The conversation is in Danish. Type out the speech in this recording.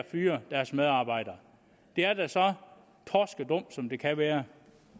fyre deres medarbejdere det er da så torskedumt som det kan være